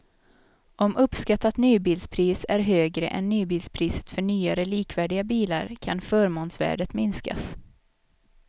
Om uppskattat nybilspris är högre än nybilspriset för nyare likvärdiga bilar kan förmånsvärdet minskas.